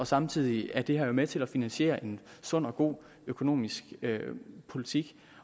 samtidig er det her med til at finansiere en sund og god økonomisk politik